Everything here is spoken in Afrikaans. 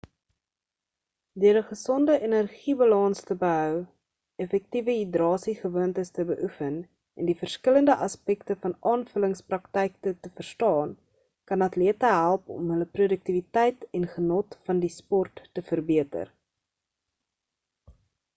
deur 'n gesonde energiebalans te behou effektiewe hidrasiegewoontes te beoefen en die verskillende aspekte van aanvullingspraktyke te verstaan kan atlete help om hulle produktiwiteit en genot van die sport te verbeter